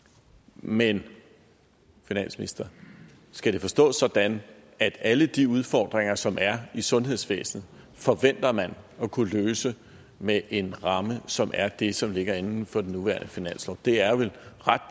men finansminister skal det forstås sådan at alle de udfordringer som der er i sundhedsvæsenet forventer man at kunne løse med en ramme som er det som ligger inden for den nuværende finanslov det er vel ret